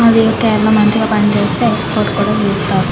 అవి ఒక వేళా మంచిగా పని చేస్త ఎక్స్పోర్ట్ చేస్తారు.